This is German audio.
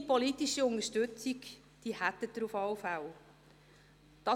Meine politische Unterstützung hätten Sie auf jeden Fall.